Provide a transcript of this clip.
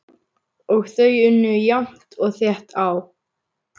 Og þau unnu jafnt og þétt á.